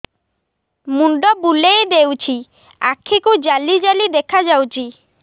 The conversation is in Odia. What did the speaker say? ମୁଣ୍ଡ ବୁଲେଇ ଦେଉଛି ଆଖି କୁ ଜାଲି ଜାଲି ଦେଖା ଯାଉଛି